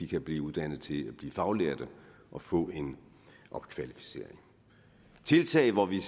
kan blive uddannet til at blive faglærte og få en opkvalificering og tiltag hvor vi